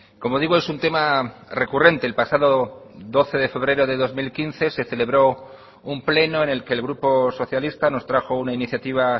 como digo es un tema recurrente el pasado doce de febrero de dos mil quince se celebró un pleno en el que el grupo socialista nos trajo una iniciativa